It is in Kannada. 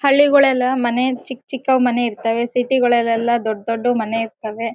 ಹಳ್ಳಿಗಳೆಲ್ಲ ಮನೆ ಚಿಕ್ಕ್ ಚಿಕ್ಕ್ ಮನೆ ಇರ್ತವೆ ಸಿಟಿ ಗಳಲೆಲ್ಲ ದೊಡ್ಡ್ ದೊಡ್ಡ್ ಮನೆ ಇರ್ತವೆ.